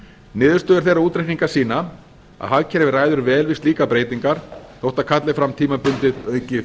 niðurstöður þeirra útreikninga sína að hagkerfið ræður vel við slíkar breytingar þótt það kalli fram tímabundið aukið